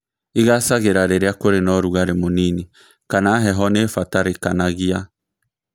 Īgacagĩra rĩrĩa kurĩ na ũrugarĩ mũnini kana heho nĩbatarĩkanagia